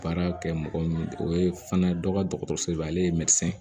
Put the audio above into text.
Baara kɛ mɔgɔ min o ye fana dɔ ka dɔgɔtɔrɔsoba ye ale ye